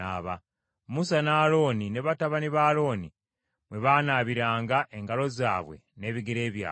Musa ne Alooni ne batabani ba Alooni mwe baanaabiranga engalo zaabwe n’ebigere byabwe.